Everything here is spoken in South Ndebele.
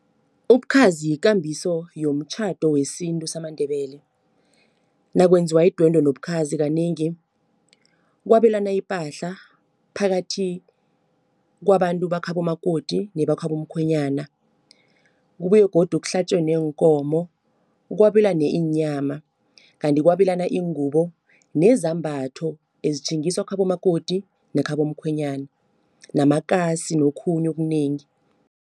Ubukhazi yikambiso yomtjhado wesintu samaNdebele. Nakwenziwa idwendwe nobukhazi kanengi kwabelana ipahla phakathi kwabantu bakhabo makoti nebakhabo mkhwenyana. Kubuye godu kuhlatjwe neenkomo, kwabelane iinyama, kanti kwabelana iingubo nezambatho ezitjhingiswa khabo makoti nekhabo mkhwenyana namakasi nokhunye okunengi.